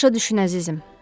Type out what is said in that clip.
Başa düşün, əzizim.